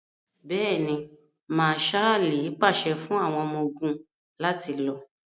Bẹ́ẹ̀ni, Mạạṣạli paṣẹ fun àwọn ọmọ-ogun lati lọ.